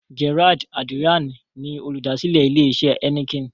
Gerard Adriaan ni olùdásílẹ̀ ilè isẹ̀ Heineken.